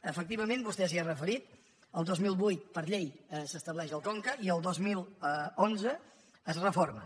efectivament vostè s’hi ha referit el dos mil vuit per llei s’estableix el conca i el dos mil onze es reforma